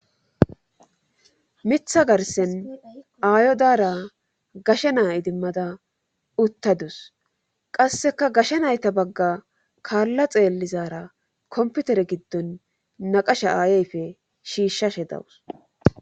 mitha garsen aayo daara gashe naa idimmada uttadus qasseka gashe nayta bagga kaalla xeellizara komputere giddon naqasha aayeyfe shiishshashe dawus